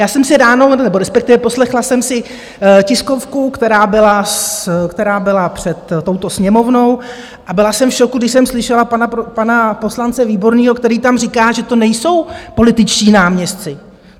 Já jsem si ráno, nebo respektive poslechla jsem si tiskovku, která byla před touto Sněmovnou, a byla jsem v šoku, když jsem slyšela pana poslance Výborného, který tam říká, že to nejsou političtí náměstci.